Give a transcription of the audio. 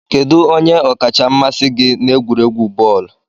Kedu onye ọkacha mmasị gị n'egwuregwu bọọlụ?